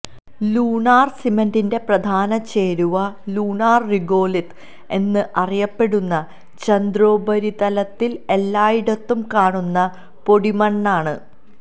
lunar സിമന്റിന്റെ പ്രധാന ചേരുവ ലൂണാര് റിഗോലിത് എന്ന് അറിയപ്പെടുന്ന ചന്ദ്രോപരിതലത്തില് എല്ലായിടത്തും കാണുന്ന പൊടിമണ്ണാണ്